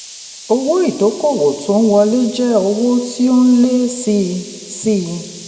owó ìdókòwò tó ń wọlé jẹ́ owó tí ó ń lé sí i. sí i.